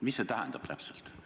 Mida see tähendab?